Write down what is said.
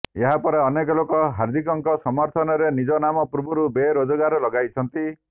ଏହା ପରେ ଅନେକ ଲୋକ ହାର୍ଦିକଙ୍କ ସମର୍ଥନରେ ନିଜ ନାମ ପୂର୍ବରୁ ବେରୋଜଗାର ଲଗାଇଛନ୍ତି